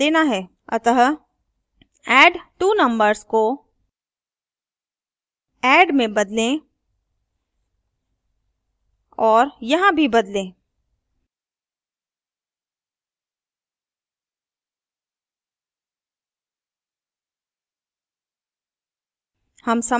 अतः addtwonumbers को add में बदलें और यहाँ भी बदलें